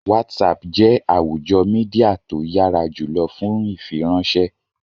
Whatsapp jẹ́ àwùjọ Mídíà tó yára jùlọ fún ìfiránṣẹ́